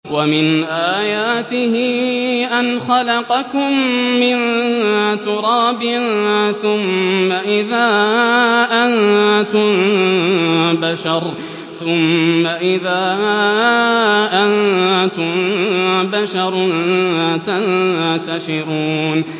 وَمِنْ آيَاتِهِ أَنْ خَلَقَكُم مِّن تُرَابٍ ثُمَّ إِذَا أَنتُم بَشَرٌ تَنتَشِرُونَ